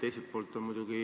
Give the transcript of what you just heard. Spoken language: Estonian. Teiselt poolt on muidugi